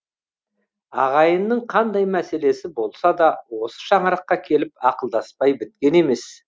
ағайынның қандай мәселесі болса да осы шаңыраққа келіп ақылдаспай біткен емес